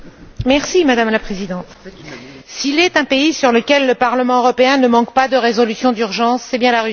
Madame la Présidente, s'il est un pays sur lequel le Parlement européen ne manque pas de résolutions d'urgence, c'est bien la Russie.